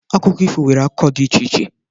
Akụkọ ifo nwere akụkọ dị iche iche.